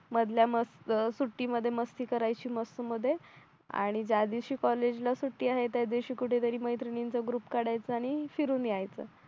मधल्या मस्त सुट्टीमध्ये मस्ती करायची मस्त मध्ये आणि ज्या दिवशी कॉलेजला सुट्टी आहे त्या दिवशी कुठेतरी मैत्रिणींचा ग्रुप काढायचा आणि फिरून यायचं